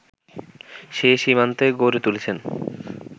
সে সীমান্তে গড়ে তুলেছেন